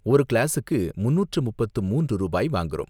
ஒரு கிளாஸுக்கு முன்னூற்று முப்பத்து மூன்று ரூபாய் வாங்கறோம்.